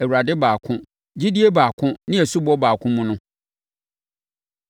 Awurade baako, gyidie baako ne asubɔ baako mu no.